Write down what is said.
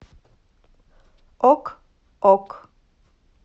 ок ок